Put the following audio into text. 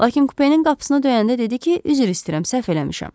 Lakin kupenin qapısını döyəndə dedi ki, üzr istəyirəm, səhv eləmişəm.